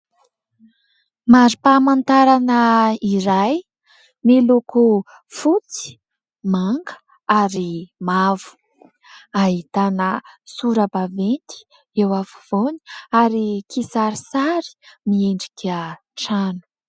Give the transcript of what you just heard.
Mari-pamantarana iray : miloko fotsy, manga ary mavo, ahitana sora-baventy eo afovoany ary kisarisary miendrika trano.